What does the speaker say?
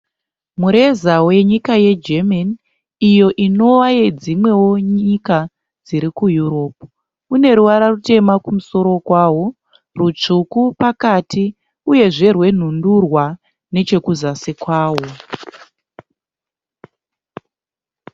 Mureza wenyika yeGermany iyo inova yedzimwewo nyika dziri kuEurope. Une ruvara rutema kumusoro kwawo, rutsvuku pakati uyezve rwenhundurwa nechekuzasi kwawo.